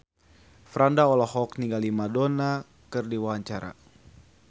Franda olohok ningali Madonna keur diwawancara